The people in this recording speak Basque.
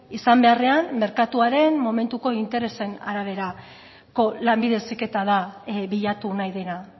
izan beharrean merkatuaren momentuko interesen araberako lanbide heziketa da bilatu nahi dena